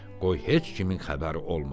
Qoy heç kimin xəbəri olmasın.